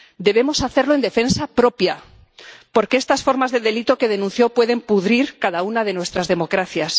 Debemos hacerlo en defensa propia, porque estas formas de delito que denunció pueden pudrir cada una de nuestras democracias.